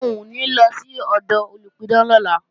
Rárá, n ò ní lọ sọ́dọ̀ olùpidán lọ́la